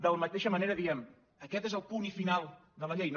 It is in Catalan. de la mateixa manera diem aquest és el punt final de la llei no